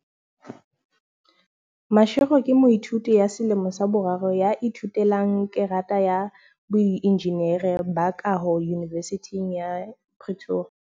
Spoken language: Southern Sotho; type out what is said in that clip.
Mashego ke moithuti wa selemo sa boraro ya ithute lang kgerata ya boenjinere ba kaho Yunivesithing ya Pretoria.